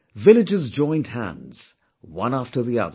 Villages joined hands, one after the other